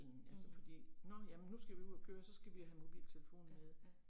Mh. Ja, ja